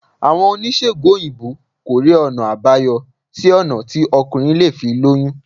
Àwọn oníṣègùn òyìnbó kò rí ọ̀nà àbáyọ sí ọ̀nà tí ọkùnrin lè fi lóyún